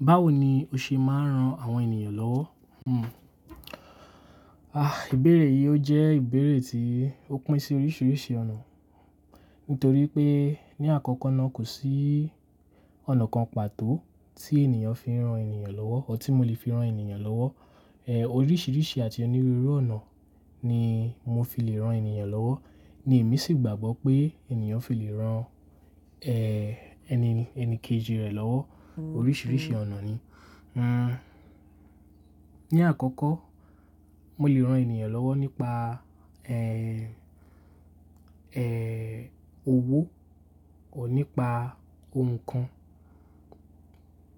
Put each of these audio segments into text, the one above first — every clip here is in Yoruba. Báwo ni o ṣe máa ń ran àwọn ènìyàn lọ́wọ́? Hmm. Àa, ìbéèrè yìí ó jẹ́ ìbéèrè tí ó pín sí oríṣiríṣi ọ̀nà. Nítorí pé ní àkọ́kọ́ náà kò sí ọ̀nà kan pàtó tí ènìyàn fi ń ran ènìyàn lọ́wọ́, tabi tí mo lè fi ran ènìyàn lọ́wọ́. Ẹ, oríṣiríṣi àti onírúurú ọ̀nà ni mo fi lè ran ènìyàn lọ́wọ́. Ní èmi sì gbàgbọ́ pé ènìyàn fi lè ran, ẹ́, ẹni, ẹni kejì rẹ̀ lọ́wọ́. Oríṣiríṣi ọ̀nà ni. Hmm. Ní àkọ́kọ́, mo lè ran ènìyàn lọ́wọ́ nípa, ẹ́, ẹ́, owó tabi nípa ohun nnkan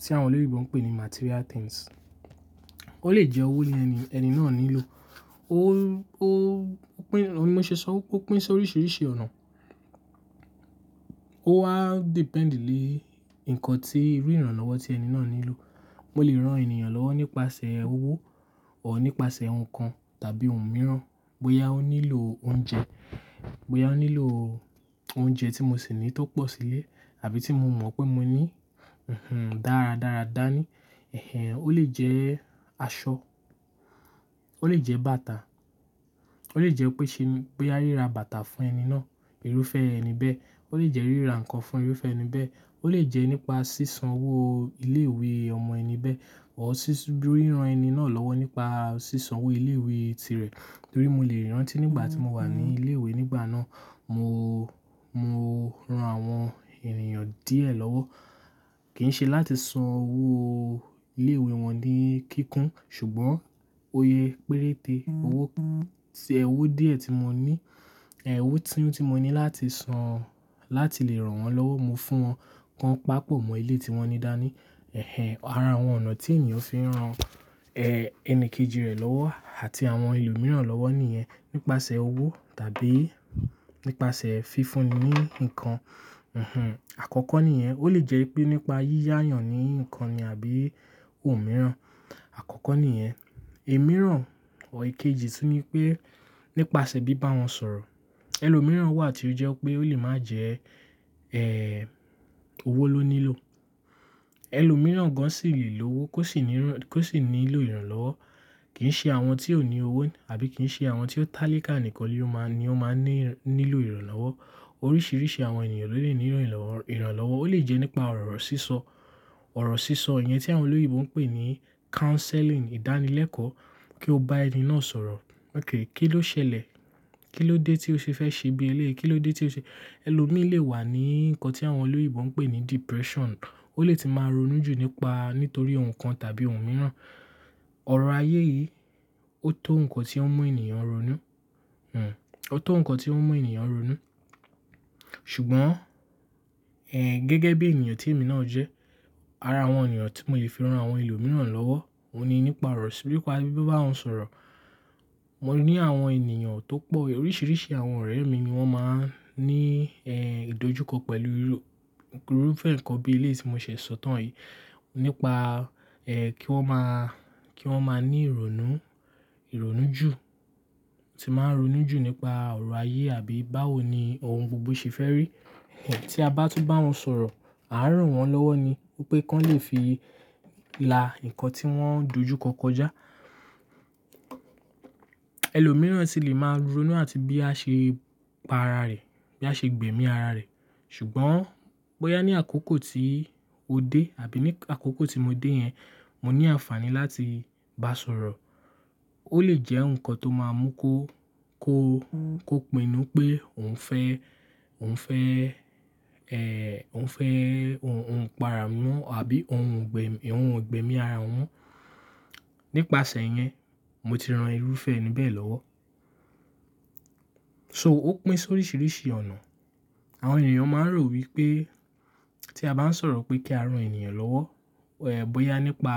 tí àwọn olóyinbò ń pè ní material things. Ó lè jẹ́ owó ni ẹni, ẹni náà nílò. Ó, ó, ó pín, òun ni mo ṣe sọ ó, ó pín sí oríṣiríṣi ọ̀nà. Ó wa depend le nǹkan tí irú ìrànlọ́wọ́ tí ẹni náà nílò. Mo lè ran ènìyàn lọ́wọ́ nípasẹ̀ owó tabi nípasẹ̀ ohun kan tàbí ohun mìíràn. Bóyá ó nílò oúnjẹ, bóyá ó nílò oúnjẹ tí mo sì ní tó pọ̀ sílé àbí tí mo mọ̀ pé mo ní, hm-hm, dára dára dá ní. Ẹ̀hẹn, ó lè jẹ́ aṣọ, ó lè jẹ́ bàtà, ó lè jẹ́ pé ṣe ní boya ríra bàtà fún ẹni náà, irúfẹ́ ẹni bẹ́ẹ̀. Ó lè jẹ́ ríra nǹkan fún irúfẹ́ ẹni bẹ́ẹ̀. Ó lè jẹ́ nípa sísan owó ilé ìwé ọmọ ẹni bẹ́ẹ̀. Tabi ṣíṣú bí ìran ẹni náà lọ́wọ́ nípa sísan owó ilé ìwé tirẹ̀. Torí mo lè rántí nígbà tí mo wà ní ilé ìwé nígbà náà, mo, mo ran àwọn ènìyàn díẹ̀ lọ́wọ́. Kì í ṣe láti san owó ilé ìwé wọn ní kíkún, ṣùgbọ́n iye péréte owó kan, sí ẹ owó díẹ̀ tí mo ní, ẹ owó tíún tí mo ní láti san, láti lè ran wọn lọ́wọ́. Mo fún wọn kan pàpọ̀ mọ ilé tí wọ́n ní dání. Ẹ̀hẹn, ara àwọn ọ̀nà tí ènìyàn fi ń ran, ẹ́, ẹni kejì rẹ̀ lọ́wọ́ àti àwọn ẹlòmíràn lọ́wọ́ nìyẹn. Nípasẹ̀ owó tàbí nípasẹ̀ fífúni ní nǹkan. Hm-hm. Àkọ́kọ́ nìyẹn. Ó lè jẹ́ pé nípa yíyá'yàn ní nǹkan ni àbí ohun mìíràn. Àkọ́kọ́ nìyẹn. Imírán tabi èkejì tún ní pé nípasẹ̀ bíbá wọn sọ̀rọ̀. Ẹlòmíràn wà tí ó jẹ́ pé ó lè máa jẹ́, ẹ́, owó ló nílò. Ẹlòmíràn gan sì lè lówó kó sì nírán, kó sì nílò ìrànlọ́wọ́. Kì í ṣe àwọn tí ó ní owó ní àbí kì í ṣe àwọn tí ó tálíká nìkan ni ó máa ń, ni ó máa ní nílò ìrànlọ́wọ́. Oríṣiríṣi àwọn ènìyàn ló lè nílò ìràn, ìrànlọ́wọ́. Ó lè jẹ́ nípa ọ̀rọ̀ sísọ. Ọ̀rọ̀ sísọ yẹn tí àwọn olórí ìbò ń pè ní counselling, ìdánilẹ́kọ̀ọ́. Kí ó bá ẹni náà sọ̀rọ̀. "Okay, kí ló ṣẹlẹ̀? Kí ló dé tí o ṣe fẹ́ ṣe bí eleyí? Kí ló dé tí o ṣe "Ẹlòmíì lè wà ní nǹkan tí àwọn olóyinbò ń pè ní depression. Ó lè tíì máa ronú jù nípa, nítorí ohun kan tàbí ohun mìíràn. Ọ̀rọ̀ ayé yìí ó tó nǹkan tí ó ń mú ènìyàn ronú. Hmm. Ó tó nǹkan tí ó ń mú ènìyàn ronú. Ṣùgbọ́n, ẹ́, gẹ́gẹ́ bí ènìyàn tí èmi náà jẹ́, ara àwọn ona tí mo lè fi ran àwọn ẹlòmíràn lọ́wọ́, òun ni nípa ọ̀rọ̀, nipa bibá wọn sọ̀rọ̀. Mo ní àwọn ènìyàn tó pọ̀, oríṣiríṣi àwọn ọ̀rẹ́ mi ni wọ́n máa ń ní, ẹ́, ìdójúkọ pẹ̀lú irú, irúfẹ́ nǹkan bí eleyií tí mo ṣẹ̀ sọ tán yìí. Nípa, ẹ́, kí wọ́n máa, kí wọ́n máa ní ìrònú, ìrònú jù. Tí máa ń ronú jù nípa ọ̀rọ̀ ayé àbí báwo ni ohun gbogbo ṣe fẹ́ rí. Ẹ̀hẹn, tí a bá tún bá wọn sọ̀rọ̀, à n ràn wọ́n lọ́wọ́ ni. Wipé kí wọ́n lè fi la nǹkan tí wọ́n ń dojúkọ kọjá. Ẹlòmíràn sì lè máa ronú àti bí a ṣe pa ara rẹ̀, bí a ṣe gbẹ̀mí ara rẹ̀. Ṣùgbọ́n bóyá ní àkókò tí ó dé àbí ní àkókò tí mo dé yẹn, mo ní àǹfààní láti bá sọ̀rọ̀. Ó lè jẹ́ nǹkan tó máa mú kó, kó, kó pinnu pé òun fẹ́, òun fẹ́, ẹ́, òun fẹ́ ohun, ohun pa ara wọn àbí ohun ò ń gbẹ̀mí, ohun ò ń gbẹ̀mí ara wọn. Nípasẹ̀ yẹn, mo ti ran irúfẹ́ ẹni bẹ́ẹ̀ lọ́wọ́. So ó pín sí oríṣiríṣi ọ̀nà. Àwọn ènìyàn máa ń rò wí pé tí a bá ń sọ̀rọ̀ pé kí a ran ènìyàn lọ́wọ́, ẹ́, bóyá nípa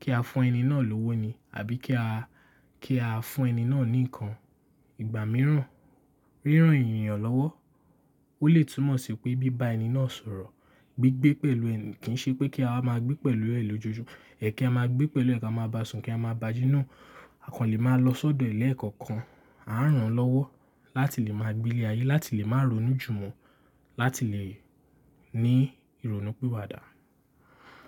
kí a fún ẹni náà lówó ni àbí kí a, kí a fún ẹni náà ní nǹkan. Ìgbà mìíràn, ríran ènìyàn lọ́wọ́ ó lè túmọ̀ sí pé bíbá ẹni náà sọ̀rọ̀. Gbigbé pẹ̀lú ẹni, kì í ṣe pé kí a máa gbé pẹ̀lú ẹ̀ lójoojúmọ́. Ẹ̀, kí a máa gbé pẹ̀lú ẹ̀ kí a máa ba sùn kí a máa ba jí nàa. A kan lè máa lọ sọ́dọ̀ re ni ekọ̀ọ̀kan. A ń rán lọ́wọ́ láti lè máa gbilé ayé, láti lè máa ronú jù mọ́, láti lè ní ìrònú piwadà.